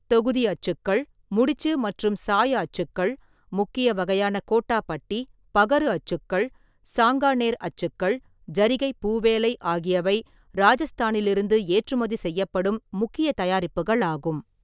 தொகுதி அச்சுக்கள், முடிச்சு மற்றும் சாய அச்சுக்கள், முக்கிய வகையான கோட்டாபட்டி, பகரு அச்சுக்கள், சாங்கானேர் அச்சுக்கள், ஜரிகைப் பூவேலை ஆகியவை ராஜஸ்தானிலிருந்து ஏற்றுமதி செய்யப்படும் முக்கிய தயாரிப்புகள் ஆகும்.